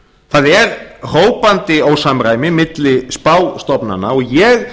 það er hrópandi ósamræmi milli spástofnana ég